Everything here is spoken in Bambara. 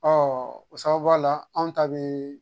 o sababuya la anw ta bɛ